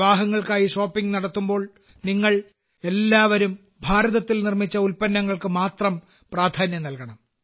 വിവാഹങ്ങൾക്കായി shopping നടത്തുമ്പോൾ നിങ്ങൾ എല്ലാവരും ഭാരതത്തിൽ നിർമ്മിച്ച ഉൽപന്നങ്ങൾക്ക് മാത്രം പ്രാധാന്യം നൽകണം